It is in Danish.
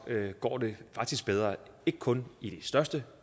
går det faktisk bedre ikke kun i de største